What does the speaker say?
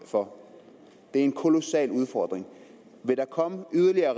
for det er en kolossal udfordring vil der komme yderligere